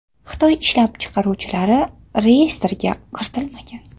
Xitoy ishlab chiqaruvchilari reyestrga kiritilmagan.